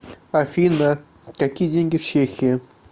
афина какие деньги в чехии